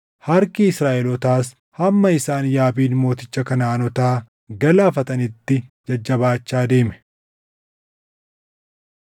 Harki Israaʼelootaas hamma isaan Yaabiin mooticha Kanaʼaanotaa galaafatanitti jajjabaachaa deeme.